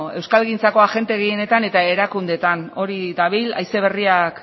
euskalgintzako agente gehienetan eta erakundeetan hori dabil haize berriak